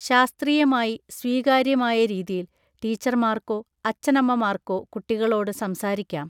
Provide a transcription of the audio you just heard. ശാസ്ത്രീയമായി സ്വീകാര്യമായ രീതിയിൽ ടീച്ചർമാർക്കോ അച്ഛനമ്മമാർക്കോ കുട്ടികളോട് സംസാരിക്കാം